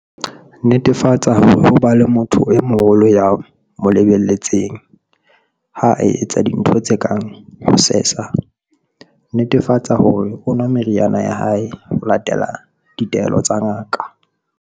Netefatsa hore ho ba le motho e moholo ya mo le-beletseng ha a etsa dintho tse kang ho sesa. Netefatsa hore o nwa meriana ya hae ho latela ditaelo tsa ngaka.